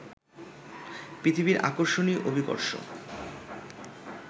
পৃথিবীর আকর্ষণই অভিকর্ষ